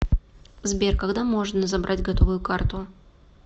сбер когда можно забрать готовую карту